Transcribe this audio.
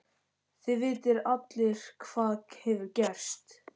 Þið vitið allir hvað hefur gerst.